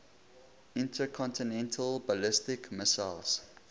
intercontinental ballistic missiles